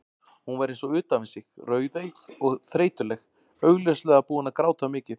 Hún var eins og utan við sig, rauðeygð og þreytuleg, augljóslega búin að gráta mikið.